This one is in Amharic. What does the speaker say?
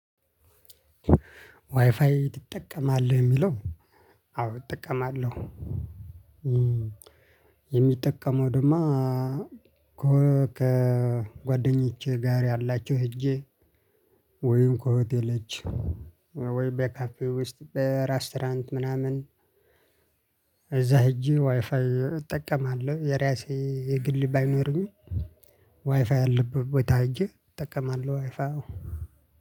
ዋይፋይ ትጠቀማለህ የሚለው? አዎ እጠቀማለሁ። የሚጠቀመው ደግሞ ከጓደኞቼ ጋር ያላቸው ሄጄ ወይም ከሆቴልዎች ወይ በካፌ ውስጥ በራስቶራንት ምናምን እዛ ሄጄ ዋይፋይ እጠቀማለሁ። የራሴ የግል ባይኖርም ዋይፋይ ያለበት ቦታ ሂጀ እጠቀማለሁ። ዋይፋው